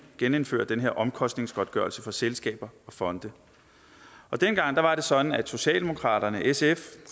genindføre den her omkostningsgodtgørelse for selskaber og fonde dengang var det sådan at socialdemokraterne sf